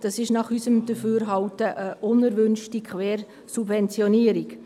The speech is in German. Dies ist nach unserem Dafürhalten eine unerwünschte Quersubventionierung.